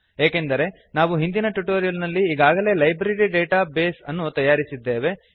ಏಕೆಂದರೆ ನಾವು ಹಿಂದಿನ ಟ್ಯುಟೋರಿಯಲ್ ನಲ್ಲಿ ಈಗಾಗಲೇ ಲೈಬ್ರರಿ ಡೇಟಾ ಬೇಸ್ ಅನ್ನು ತಯಾರಿಸಿದ್ದೇವೆ